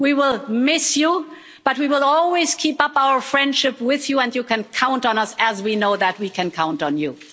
We will miss you, but we will always keep up our friendship with you, and you can count on us, as we know that we can count on you.